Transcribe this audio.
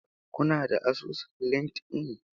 Kuna da asusun Linkedln?